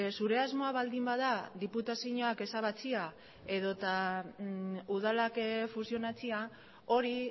zure asmoa baldin bada diputazioak ezabatzea edo eta udalak fusionatzea hori